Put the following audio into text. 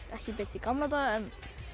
ekki beint í gamla daga